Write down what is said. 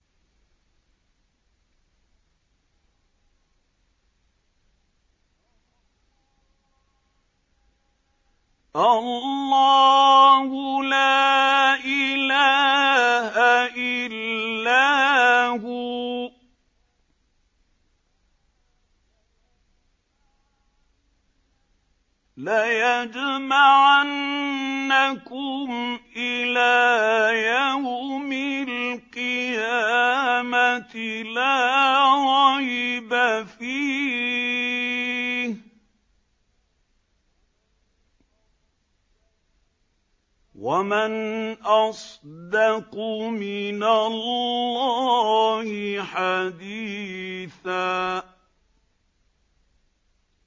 اللَّهُ لَا إِلَٰهَ إِلَّا هُوَ ۚ لَيَجْمَعَنَّكُمْ إِلَىٰ يَوْمِ الْقِيَامَةِ لَا رَيْبَ فِيهِ ۗ وَمَنْ أَصْدَقُ مِنَ اللَّهِ حَدِيثًا